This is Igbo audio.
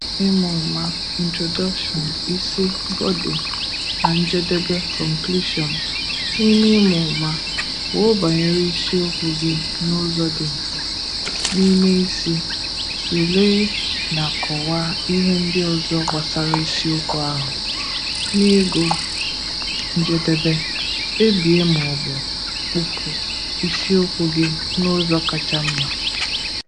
Ịmụma (Introduction), isi (Body), na njedebe (Conclusion). N’ime ịmụma, kwuo banyere isiokwu gị n’ụzọ dị mfe. N’ime isi, tụlee na kọwaa ihe ndị ọzọ gbasara isiokwu ahụ. N’ịgụ njedebe, kpebie ma ọ bụ kpụpụ isiokwu gị n’ụzọ kacha mma.